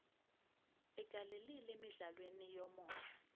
ugalelile emidlalweni yomoya